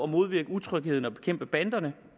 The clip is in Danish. modvirke utrygheden og bekæmpe banderne